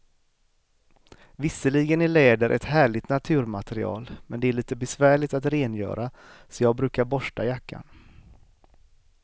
Visserligen är läder ett härligt naturmaterial, men det är lite besvärligt att rengöra, så jag brukar borsta jackan.